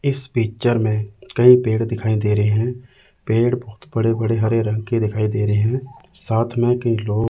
इस पिक्चर में कई पेड़ दिखाई दे रहे हैं पेड़ बहुत बड़े बड़े हरे रंग के दिखाई दे रहे हैं साथ में कई लोग--